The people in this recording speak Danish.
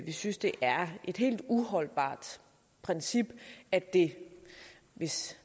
vi synes det er et helt uholdbart princip at det hvis